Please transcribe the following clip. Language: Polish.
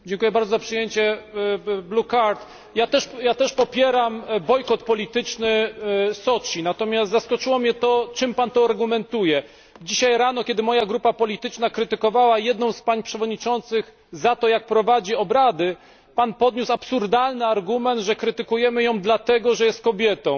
Pani Przewodnicząca! Dziękuję bardzo za przyjęcie niebieskiej kartki. Ja też popieram bojkot polityczny Soczi, natomiast zaskoczyło mnie to, czym Pan to argumentuje. Dzisiaj rano, kiedy moja grupa polityczna krytykowała jedną z pań przewodniczących za to, jak prowadzi obrady, Pan podniósł absurdalny argument, że krytykujemy ją dlatego, że jest kobietą.